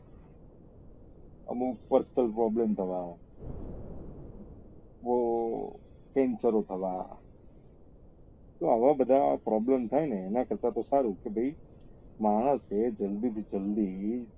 અમુક personal problem થવા ના બઉ થવા ના ને આવા બધા problem થાય ને એના કરતા તો સારું કે ભાઈ માણસ એ જલ્દી થી જલ્દી